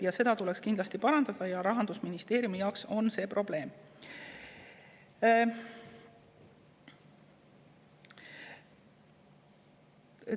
Seda olukorda tuleks kindlasti parandada, Rahandusministeerium see on probleem.